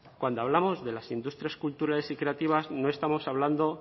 cuando hablamos de las industrias culturales y recreativas no estamos hablando